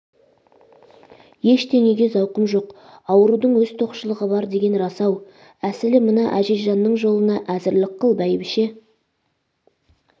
ештеңеге зауқым жоқ аурудың өз тоқшылығы бар деген рас-ау әсілі мына әзизжанның жолына әзірлік қыл бәйбше